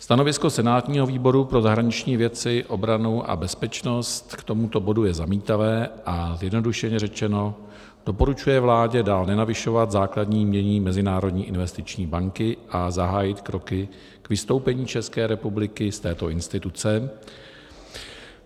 Stanovisko senátního výboru pro zahraniční věci, obranu a bezpečnost k tomuto bodu je zamítavé, a zjednodušeně řečeno, doporučuje vládě dál nenavyšovat základní jmění Mezinárodní investiční banky a zahájit kroky k vystoupení České republiky z této instituce.